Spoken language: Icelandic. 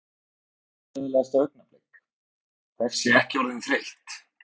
Vandræðalegasta augnablik: Þessi ekki orðin þreytt?